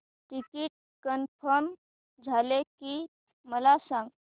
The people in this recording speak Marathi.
टिकीट कन्फर्म झाले की मला सांग